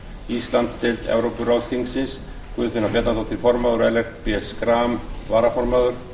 íslandsdeild evrópuráðsþingsins guðfinna bjarnadóttir formaður og ellert b schram varaformaður